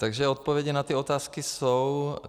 Takže odpovědi na ty otázky jsou.